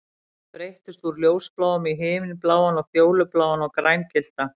Litirnir breyttust úr ljósbláum í himinbláan og fjólubláan og grængylltan